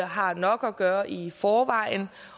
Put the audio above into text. har nok at gøre i forvejen